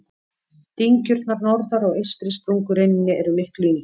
Dyngjurnar norðar á eystri sprungureininni eru miklu yngri.